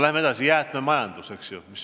Läheme edasi: jäätmemajandus.